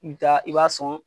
I bi taa i b'a sɔn.